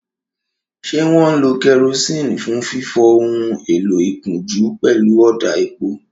Ṣé wọ́n ń lo kerosene fún fífọ ohun èlò ìkunjú pẹ̀lú ọ̀dà epo?